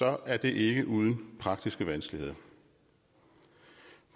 er det ikke uden praktiske vanskeligheder